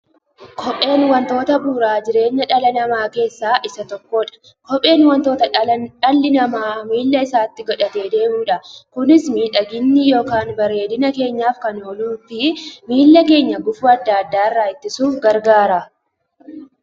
Kopheen wantoota bu'uura jireenya dhala namaa keessaa isa tokkodha. Kopheen wanta dhalli namaa miilla isaatti godhatee deemudha. Kunis miidhagani yookiin bareedina keenyaf kan ooluufi miilla keenya gufuu adda addaa irraa ittisuuf gargaara.